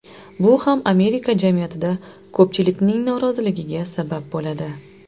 Bu ham Amerika jamiyatida ko‘pchilikning noroziligiga sabab bo‘ladi.